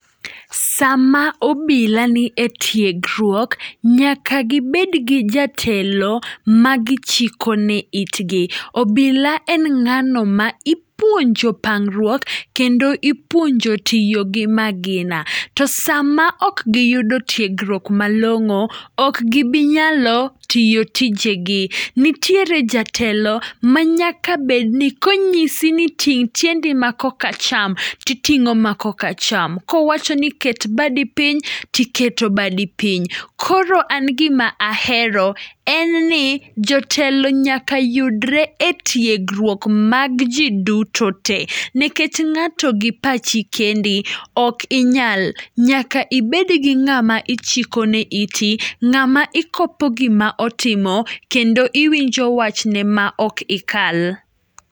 Sama obila nie tiegruok nyaka gibed gi jatelo ma gichikone itgi. Obila en ng'ano ma ipuonjo pangruok kendo ipuonjo tiyo gi magina. To sama ok giyudo tiegruok malong'o ok gibi nyalo tiyo tijegi. Nitiere jatelo manyaka bedni konyisi ni ting' tiendi makokacham, to iting'o ma kokacham. Kowacho ni ket badi piny, to iketo badi piny. Koro an gima ahero en ni jotelo nyaka yudre etiegruok mag ji duto te nikech ng'ato gi pachi kendi ok inyal nyaka ibed gi ng'ama ichikone iti, ng'ama ikopo gima otimo kendo iwinjo wachne maok ikal.